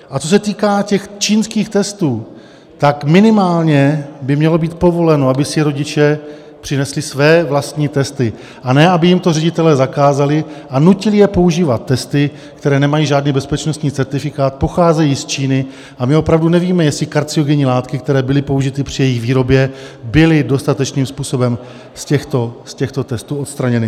A co se týká těch čínských testů, tak minimálně by mělo být povoleno, aby si rodiče přinesli své vlastní testy, a ne aby jim to ředitelé zakázali a nutili je používat testy, které nemají žádný bezpečnostní certifikát, pocházejí z Číny a my opravdu nevíme, jestli karcinogenní látky, které byly použity při jejich výrobě, byly dostatečným způsobem z těchto testů odstraněny.